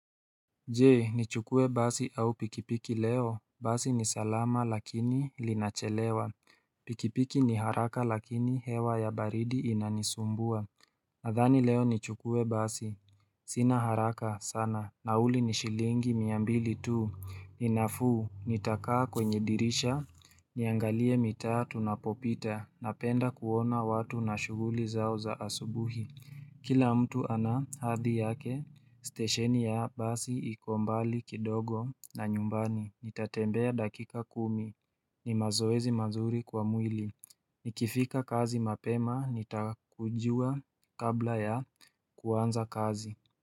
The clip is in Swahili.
Je nichukue basi au pikipiki leo Basi ni salama lakini linachelewa Pikipiki ni haraka lakini hewa ya baridi inanisumbua Nadhani leo nichukue basi Sina haraka sana nauli ni shilingi mia mbili tu ni nafuu nitakaa kwenye dirisha Niangalie mitaa tunapopita napenda kuona watu na shughuli zao za asubuhi Kila mtu ana hadhi yake, stesheni ya basi iko mbali kidogo na nyumbani, nitatembea dakika kumi, ni mazoezi mazuri kwa mwili, nikifika kazi mapema, nitakujua kabla ya kuanza kazi.